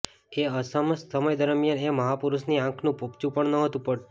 એ સમસ્ત સમય દરમ્યાન એ મહાપુરૂષની આંખનું પોપચું પણ નહોતું પડતું